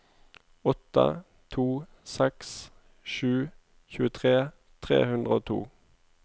åtte to seks sju tjuetre tre hundre og to